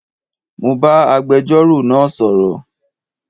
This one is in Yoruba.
Mo bá agbẹjọ́rò náà sọ̀rọ̀